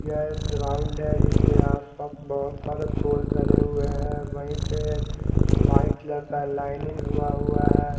यह एक ग्राउंड है जिसके आसपास बहोत सारे फूल धरे हुए है वही पे व्हाईट लड़का लाइनिंग हुआ हुआ है ।